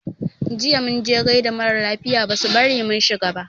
Jiya mun je gaida mara lafiya basu bari mun shiga ba.